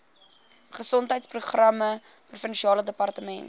gesondheidsprogramme provinsiale departement